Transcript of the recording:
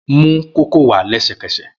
Mu kókò wá lẹsẹkẹsẹ!